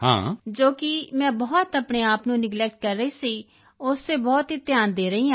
ਜੋ ਕਿ ਮੈਂ ਬਹੁਤ ਆਪਣੇ ਆਪ ਨੂੰ ਨੇਗਲੈਕਟ ਕਰ ਰਹੀ ਸੀ ਉਸ ਤੇ ਬਹੁਤ ਧਿਆਨ ਦੇ ਰਹੀ ਹਾਂ ਮੈਂ